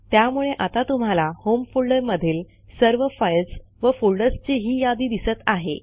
त्यामुळे आता तुम्हाला होम फोल्डरमधील सर्व फाईल्स व फोल्डर्सची ही यादी दिसत आहे